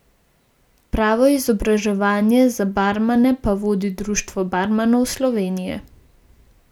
Pravo izobraževanje za barmane pa vodi Društvo barmanov Slovenije.